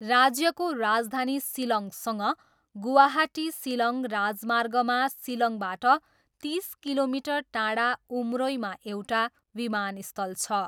राज्यको राजधानी सिलङसँग गुवाहाटी सिलङ राजमार्गमा सिलङबाट तिस किलोमिटर टाढा उमरोईमा एउटा विमानस्थल छ।